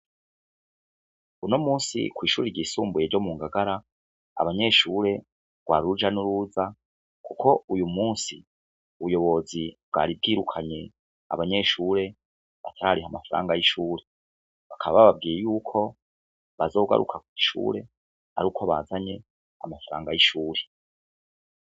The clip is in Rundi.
Unomunsi kwishure ryisumbuye ryo mungagara abanyeshure rwari uraja n'uruza uyumunsi ubuyobozi bwari bwirukanye abanyeshure batarariha amafaranga y'ishure bakaba bababwiye yuko bazogaruka kw'ishure aruko bazanye amafaranga y'ishure .